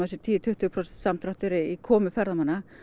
sé tíu til tuttugu prósent samdráttur í komum ferðamanna